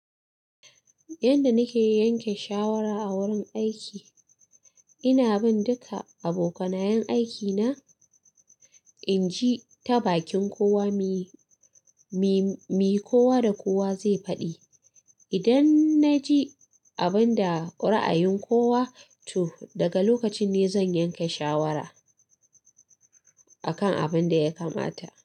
Yanda nake yanke shawara a wurin aiki, ina bin duka abokanayan aikina, inji ta bakin kowa, me, me, me kowa da kowa zai faɗi. Idan na ji abin da ko ra'ayin kowa tu, daga lokacin ne zan yanke shawara a kan abin da ya kamata.